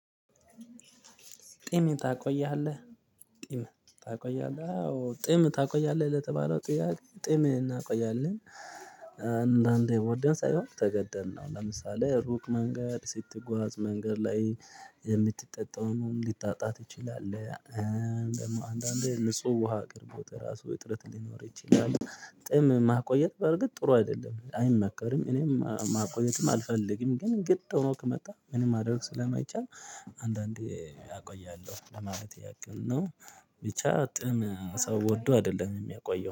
ጢምን ታቆይሃለህ ጢምን ታቆይሃለህ? አዎ ጢም ታቆይሃለህ ለተባለው ጥያቄ ጢም እናቆያለን አንዳንዴ ወደን ሳይሆን ተገደን ነው። ለምሳሌ ሩቅ መንገድ ስትጓዝ መንገድ ላይ የምትጠጣውን ልታጣ ትችላለህ። አንዳንዴ ንጹህ ውሃ ቀርቦት ራሱ እጥረት ሊኖር ይችላል። ጥም ማቆየት በርግጥ ጥሩ አይደለም አይመከርም እኔም ማቆየትም አልፈልግም ግን ግድ ሆኖ ከመጣ ምንም ማድረግ ስለማይቻል። አንዳንዴ ያቆያለሁ ለማለት ያቅም ነው። ብቻ ጥም ሰው ወዶ አይደለም የሚያቆየው